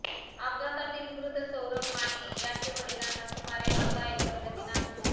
अपघातातील मृत सौरभ माने याचे वडिलांना सुमारे अर्धा एकर जमीन आहे